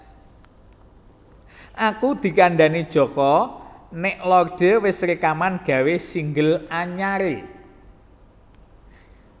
Aku dikandhani Joko nek Lorde wes rekaman gawe single anyar e